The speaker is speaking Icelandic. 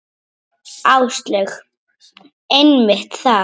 Áslaug: Einmitt það.